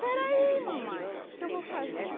Peraí mamãe, que que eu vou fazer?